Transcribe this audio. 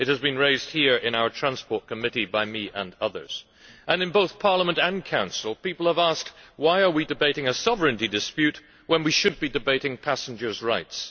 it has been raised here in our Transport Committee by me and others and in both Parliament and the Council people have asked why we are debating a sovereignty dispute when we should be debating passengers' rights.